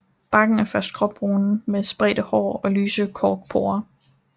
Barken er først gråbrun med spredte hår og lyse korkporer